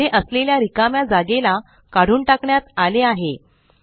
येथे असलेल्या रिकाम्या जागेला काढून टाकण्यात आले आहे